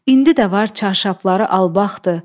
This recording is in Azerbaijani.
İndi də var çarşafları albaqdı.